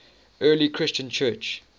early christian church